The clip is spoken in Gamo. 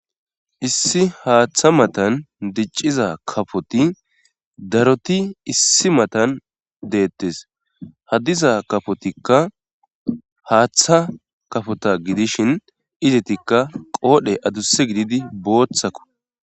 issi haaththa matan dicciza kafoti daroti issi matan deettes ha diza kafotikka haaththa kafota gidishin izetikka qoodhe adusse gididi booththako